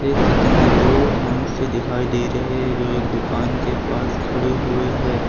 इस चित्र में दो मनुष्य दिखाई दे रहे हैं जो एक दुकान के पास खड़े हुए है।